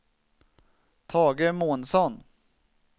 Tage Månsson